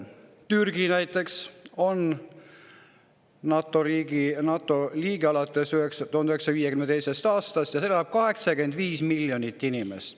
Türgi on NATO liige alates 1952. aastast ja seal elab 85 miljonit inimest.